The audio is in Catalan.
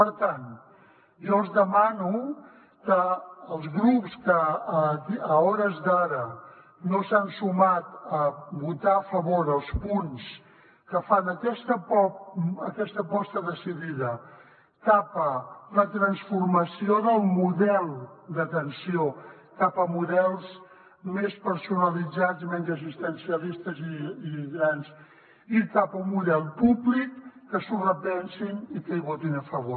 per tant jo els demano als grups que a hores d’ara no s’han sumat a votar a favor els punts que fan aquesta aposta decidida cap a la transformació del model d’atenció cap a models més personalitzats menys assistencialistes i cap a un model públic que s’ho repensin i que hi votin a favor